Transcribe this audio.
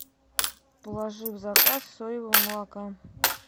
положи в заказ соевого молока